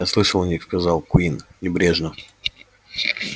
я слышал о них сказал куинн небрежно